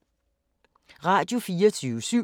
Radio24syv